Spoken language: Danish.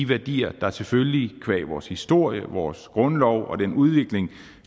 værdier der selvfølgelig qua vores historie vores grundlov og den udvikling